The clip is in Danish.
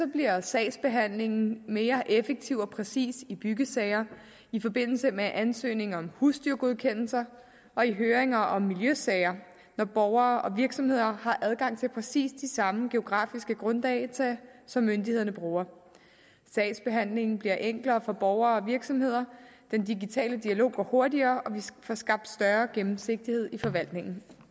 bliver sagsbehandlingen mere effektiv og præcis i byggesager i forbindelse med ansøgning om husdyrgodkendelser og i høringer om miljøsager når borgere og virksomheder har adgang til præcis de samme geografiske grunddata som myndighederne bruger sagsbehandlingen bliver enklere for borgere og virksomheder den digitale dialog går hurtigere og vi får skabt større gennemsigtighed i forvaltningen